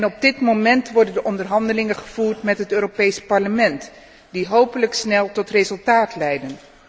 Op dit moment worden de onderhandelingen gevoerd met het Europees Parlement, die hopelijk snel tot resultaat leiden.